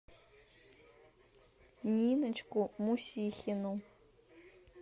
ниночку мусихину